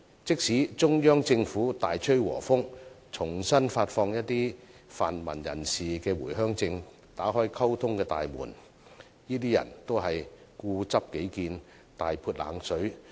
即使中央政府大吹和風，重新發放一些泛民人士的回鄉證，打開溝通的大門，他們都固執己見，大潑冷水。